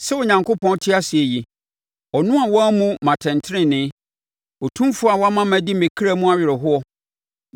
“Sɛ Onyankopɔn te ase yi, ɔno a wammu me atɛntenenee, Otumfoɔ a wama madi me kra mu awerɛhoɔ;